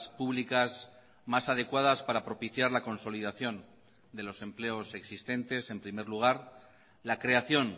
públicas más adecuadas para propiciar la consolidación de los empleos existentes en primer lugar la creación